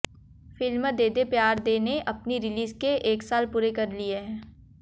film De De Pyaar De ने अपनी release के एक साल पूरे कर लिए हैं